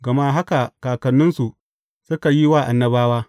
Gama haka kakanninsu suka yi wa annabawa.